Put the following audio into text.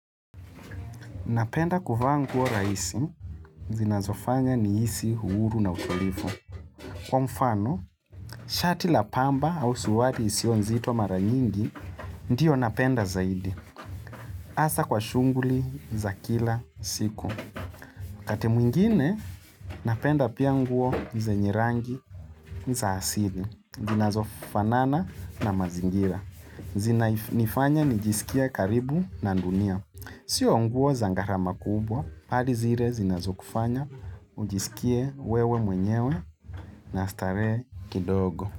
Napenda kuvaa nguo rahisi, zinazofanya nihisi huru na utulivu Kwa mfano, shati la pamba au suruali isiyo nzito mara nyingi, ndiyo napenda zaidi. Asa kwa shunguli za kila siku. Wakati mwingine, napenda pia nguo zenye rangi za asili, zinazofanana na mazingira. Zinanifanya nijisikie karibu na dunia. Sio nguo za gharama kubwa, bali zile zinazokufanya, ujisikie wewe mwenyewe na starehe kidogo.